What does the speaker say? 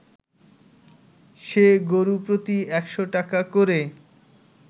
সে গরু প্রতি ১০০ টাকা করে